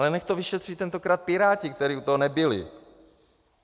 Ale nechť to vyšetří tentokrát Piráti, kteří u toho nebyli.